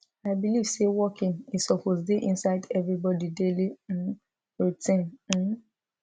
i believe say walking e suppose dey inside everybody daily um routine um